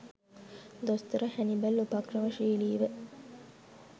දොස්තර හැනිබල් උපක්‍රමශීලීව